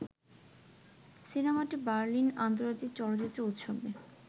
সিনেমাটি বার্লিন আন্তজার্তিক চলচ্চিত্র উৎসবে